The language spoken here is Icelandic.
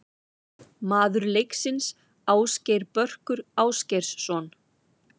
Maður leiksins: Ásgeir Börkur Ásgeirsson.